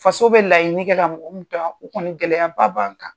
Faso bɛ laɲini kɛ ka mɔgɔ minnu to yan, o kɔni gɛlɛya ba ban kan.